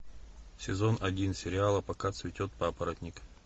сезон один сериала пока цветет папоротник